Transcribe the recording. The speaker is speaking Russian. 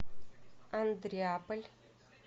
андреаполь